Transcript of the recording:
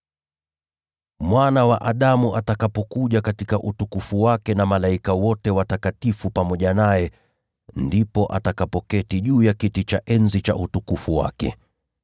“Mwana wa Adamu atakapokuja katika utukufu wake na malaika wote watakatifu pamoja naye, ndipo atakapoketi juu ya kiti cha enzi cha utukufu wake.